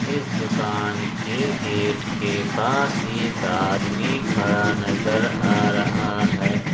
इस दुकान के गेट के पास एक आदमी खड़ा नजर आ रहा है।